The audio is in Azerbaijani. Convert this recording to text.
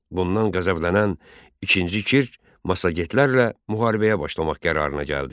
Bundan qəzəblənən İkinci Kir massagetlərlə müharibəyə başlamaq qərarına gəldi.